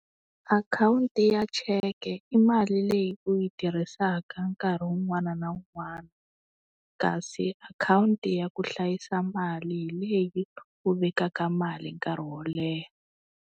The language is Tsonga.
Akhawunti ya cheke i mali leyi u yi tirhisaka nkarhi wun'wani na wun'wani. Kasi akhawunti ya ku hlayisa mali hi leyi u vekaka mali nkarhi wo leha.